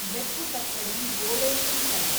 ಬೆಪ್ಪುತಕ್ಕಡಿ ಬೋಳೆ ಶಂಕರ